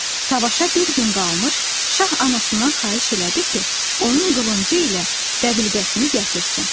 Savaşa bir gün qalmış şah anasından xahiş elədi ki, onun qılıncı ilə dəbilqəsini gətirsin.